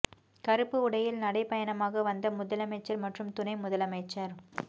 கருப்பு உடையில் நடை பயணமாக வந்த முதலமைச்சர் மற்றும் துணை முதலமைச்சர்